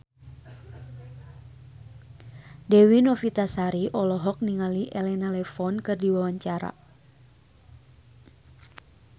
Dewi Novitasari olohok ningali Elena Levon keur diwawancara